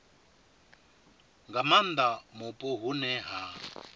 nga maanda mupo hune ha